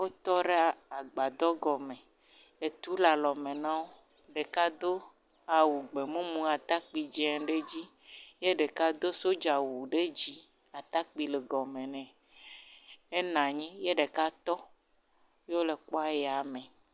Wo tɔ ɖe agbadɔ gɔme, etu le alɔ me nawo, ɖeka do awu gbemumu atakpui dzeŋ ɖe dzi, ye ɖeka do soja wu ɖe dzì atakpui le gɔme ne, enanyi ye ɖeka tɔ, ye wo le kpɔ aya me.